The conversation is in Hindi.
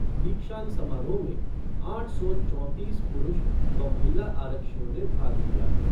दिक्षांत समारोह में आठ सौ चौंतीस पुरूष व महिला आरक्षियों ने भाग लिया।